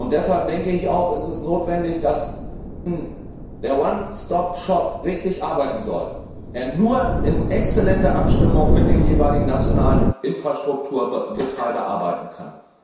Deshalb ist es notwendig, dass, wenn der One Stop Shop richtig arbeiten soll, er nur in exzellenter Abstimmung mit dem jeweiligen nationalen Infrastrukturbetreiber arbeiten kann.